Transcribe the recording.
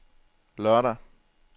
lørdag